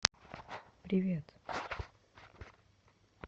привет